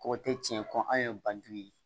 Kɔgɔ tɛ tiɲɛ ko an ye bandugu ye